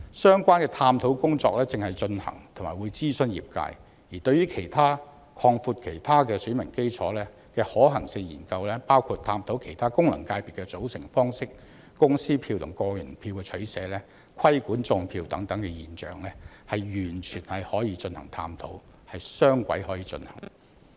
相關的探討工作正在進行中，並將會諮詢業界，而對於其他擴闊選民基礎的可行性研究，包括檢討其他功能界別的組成方式、公司票和個人票的取捨、規管"種票"現象等，完全可以進行探討，可以雙軌進行。